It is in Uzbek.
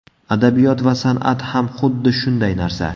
Adabiyot va san’at ham xuddi shunday narsa.